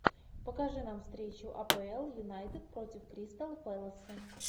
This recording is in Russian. покажи нам встречу апл юнайтед против кристал пэласа